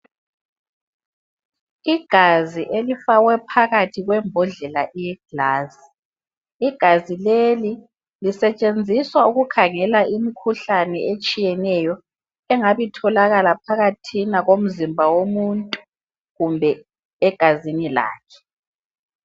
Igazi elifakwe phakathi kwembodlela yegilasi. Igazi leli lisetshenziswa ukukhangela imikhuhlane etshiyeneyo engabe itholakala phakathina komzimba womuntu kumbe egazini lakhe.